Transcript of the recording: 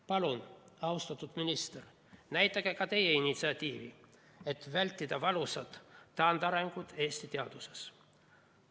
Palun, austatud minister, näidake ka teie üles initsiatiivi, et vältida valusat taandarengut Eesti teaduses!